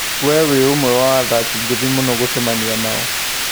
"We nĩ ũmwe wa athaki ngũthi mũno gũcemania nao"